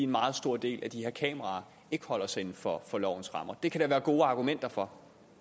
meget stor del af de her kameraer ikke holder sig inden for lovens rammer det kan der være gode argumenter for